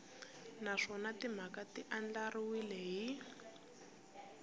naswona timhaka ti andlariwile hi